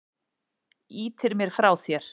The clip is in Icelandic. Ýtir mér frá þér.